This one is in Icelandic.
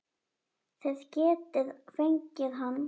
Þið getið fengið hann